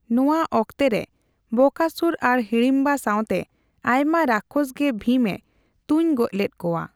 ᱱᱚᱣᱟ ᱚᱠᱛᱮ ᱨᱮ ᱵᱚᱠᱟᱥᱩᱨ ᱟᱨ ᱦᱤᱲᱤᱢᱵᱟ ᱥᱟᱣᱛᱮ ᱟᱭᱢᱟ ᱨᱟᱠᱷᱚᱥ ᱜᱮ ᱵᱷᱤᱢ ᱮ ᱛᱩᱧᱜᱚᱡᱽ ᱞᱮᱫ ᱠᱚᱣᱟ ᱾